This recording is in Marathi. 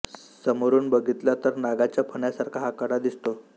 समोरुन बघितला तर नागाच्या फण्यासारखा हा कडा दिसतो